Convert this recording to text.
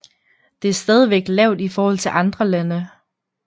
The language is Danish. Det er stadigvæk lavt i forhold til andre lande